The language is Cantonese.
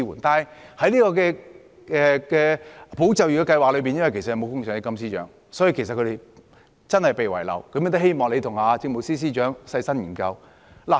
但是，在保就業的計劃中，他們今次真的被遺漏了，故我希望司長你和政務司司長細心研究。